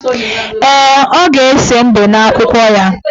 Ee, ọ ga-ese mbe n' akwụkwọ ya.